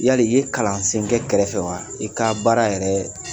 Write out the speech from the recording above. Yali i ye kalan sen kɛ kɛrɛfɛ wa i ka baara yɛrɛ